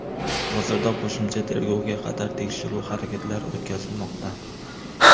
Hozirda qo‘shimcha tergovga qadar tekshiruv harakatlari o‘tkazilmoqda.